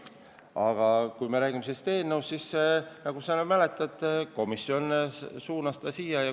Aga kui me räägime sellest eelnõust, siis, nagu sa mäletad, komisjon suunas ta siia saali.